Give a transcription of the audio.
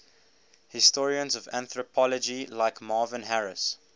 historians of anthropology like marvin harris